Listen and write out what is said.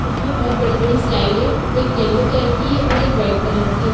उसमें बहुत बड़ी -बड़ी स्लाइड है एक येलो कलर की है और एक रेड कलर की हैं।